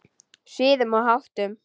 Siðum og háttum.